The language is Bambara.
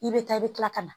I bɛ taa i bɛ kila ka na